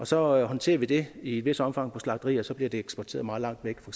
så håndterer vi det i et vist omfang på slagterier og så bliver de eksporteret meget langt væk for